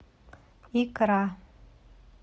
икра